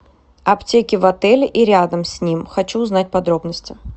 аптеки в отеле и рядом с ним хочу узнать подробности